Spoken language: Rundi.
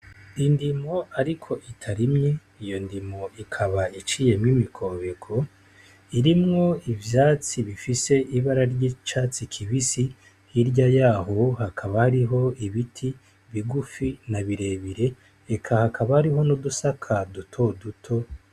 Indimo ariko itarimye, iyo ndimo ikaba iciyemwo imikobeko irimwo ivyatsi bifise ibara ry'icatsi kibisi hirya yaho hakaba hariho ibiti bigufi na birebire eka hakaba hariho n'udusaka dutoduto.